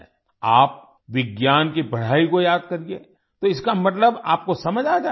आप विज्ञान की पढ़ाई को याद करिए तो इसका मतलब आपको समझ आ जाएगा